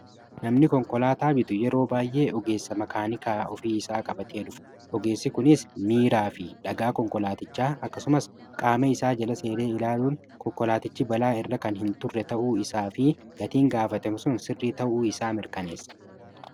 Namni konkolaa bitu yeroo baay'ee ogeessa makaanikaa ofii isaa qabatee dhufa. Ogeessi kunis miiraa fi dhagaa konkolaaticha akkasumas qaame isaa jala seenee ilaaluun konkolaatichi balaa irra kan hin turre ta'uu isaa fi gatiin gaafatame sun sirrii ta'uu isaa mirkaneessa.